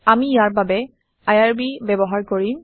আমি ইয়াৰ বাবে আইআৰবি ব্যৱহাৰ কৰিম